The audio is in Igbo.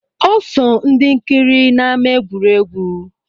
Ọ so ndị nkiri n’ama egwuregwu